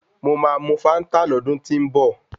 Mo máa mu fáńtà lọ́dún tí ń bọ̀.